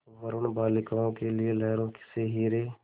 वरूण बालिकाओं के लिए लहरों से हीरे